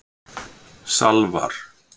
Salvar